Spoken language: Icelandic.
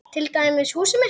Til dæmis húsið mitt.